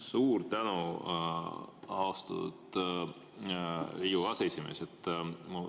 Suur tänu, austatud Riigikogu aseesimees!